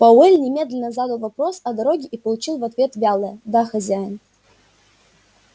пауэлл немедленно задал вопрос о дороге и получил в ответ вялое да хозяин